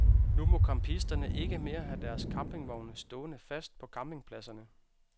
Nu må campisterne ikke mere have deres campingvogne stående fast på campingpladserne.